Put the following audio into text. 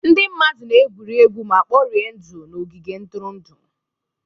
Ndị mmadụ na-egwuri egwu ma kporie ndụ n'ogige ntụrụndụ.